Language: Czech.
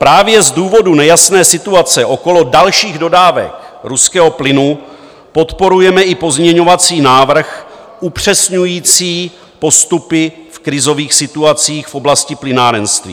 Právě z důvodu nejasné situace okolo dalších dodávek ruského plynu podporujeme i pozměňovací návrh upřesňující postupy v krizových situacích v oblasti plynárenství.